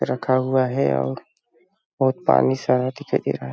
रखा हुआ है और बहुत पानी सारा दिखाई दे रहा है।